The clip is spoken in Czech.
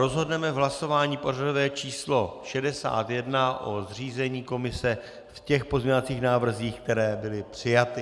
Rozhodneme v hlasování pořadové číslo 61 o zřízení komise v těch pozměňovacích návrzích, které byly přijaty.